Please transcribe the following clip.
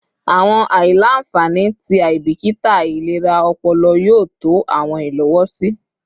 Awọn aila-nfani ti aibikita ilera ọpọlọ yoo tọ awọn ilowosi